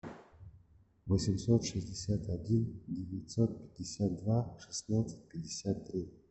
восемьсот шестьдесят один девятьсот пятьдесят два шестнадцать пятьдесят три